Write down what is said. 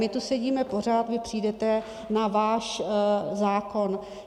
My tu sedíme pořád, vy přijdete na váš zákon.